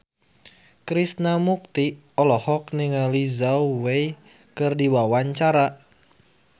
Krishna Mukti olohok ningali Zhao Wei keur diwawancara